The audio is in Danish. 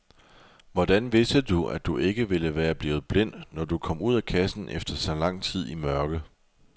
Hvordan vidste du, at du ikke ville være blevet blind, når du kom ud af kassen efter så lang tid i mørke?